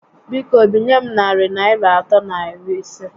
Biko, binye m narị Naịra atọ na iri isé